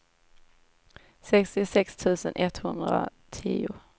sextiosex tusen etthundratio